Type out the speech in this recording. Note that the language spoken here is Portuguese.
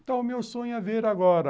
Então, o meu sonho é ver agora